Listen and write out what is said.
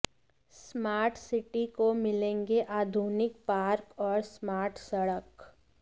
smart city को मिलेंगे आधुनिक पार्क और स्मार्ट सड़क